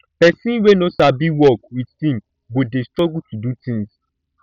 person wey no sabi work with team go dey struggle to do things